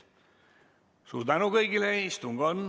Suur tänu kõigile!